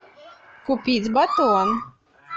купить батон